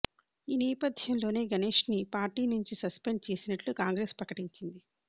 ఈ నేపథ్యంలోనే గణేశ్ను పార్టీ నుంచి సస్పెండ్ చేసినట్లు కాంగ్రెస్ ప్రకటించింది